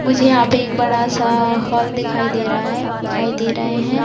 मुझे यहाँ पे एक बड़ा-सा अ हॉल दिखाई दे रहा है दिखाई दे रहे हैं।